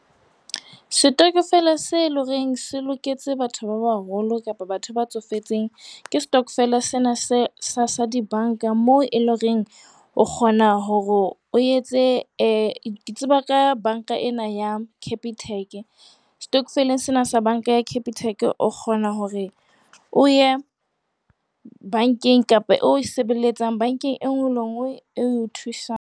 Setokofele se ilehoreng se loketse batho ba baholo kapa batho ba tsofetseng, ke stokvel sena se sa dibanka moo eleng horeng o kgona hore o etse eh ke tseba ka banka ena ya Capitec. Setokofeleng sena sa banka ya Capitec, o kgona hore o ye bankeng kapa e o e sebelletsang, bankeng e nngwe le nngwe e o thusang.